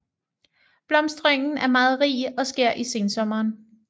Blomstringen er meget rig og sker i sensommeren